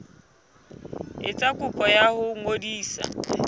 etsa kopo ya ho ngodisa